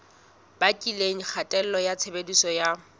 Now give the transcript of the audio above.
bakileng kgatello ya tshebediso ya